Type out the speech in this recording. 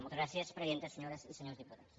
moltes gràcies presidenta senyores i senyors diputats